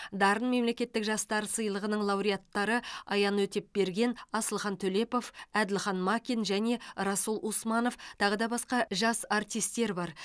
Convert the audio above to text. дарын мемлекеттік жастар сыйлығының лауреаттары аян өтепберген асылхан төлепов әділхан макин және расул усманов тағы да басқа жас артистер бар